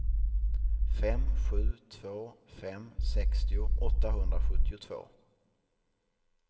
fem sju två fem sextio åttahundrasjuttiotvå